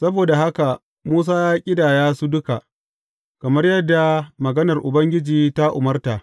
Saboda haka Musa ya ƙidaya su duka, kamar yadda maganar Ubangiji ta umarta.